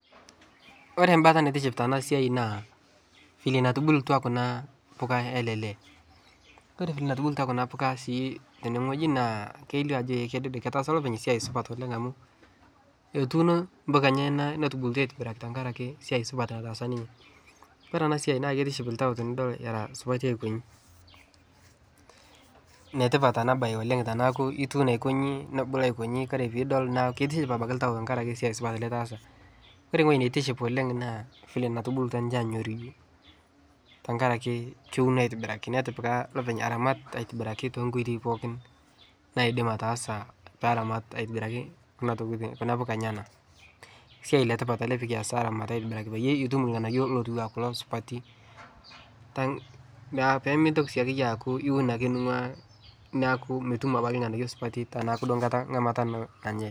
Ore mbata naitiship tana siai naa fenye natubulutwa kuna mbuka yale lee' kore vile natubulutwa kuna mbuka sii teneng'oji naa kelio ajo eh kedede ketaasa lopeny siai supat oleng' amu etuuno mbuka enyana netubukutwa aitibiraki ntankare ake siai supat nataasa ninye, kore ana siai naa keitiship ltau tinidol era supati ainkonyi, netipat ana baye oleng' teneaku ituuno aikonyi nebulu aikonyi kore piidol naaku keitiship abaki ltau ntankare siai supat litaasa. kore ng'oji neitiship oleng' naa vile netubulutwa ninche aanyoruju ntankare ake keuno aitibiraki netipika lopeny aramat aitibiraki tenkoitoi pookin naidim ataasa peramat aitibiraki kuna tokitin kuna mbuka enyana, siai letipat ale pikias aramat aitibiraki payie iitum lng'anayo lotuwaa kulo supati te naa piimintoki siake iyie aaku iun ake ning'ua naaku mitum abaki lng'anayo supati tanaaku duo nkata ng'amata nanyae.